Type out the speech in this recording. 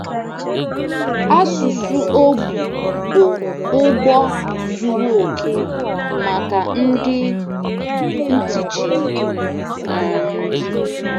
Asụsụ ogbi bụ ụgbọ zuru okè maka ndị ntị chiri. um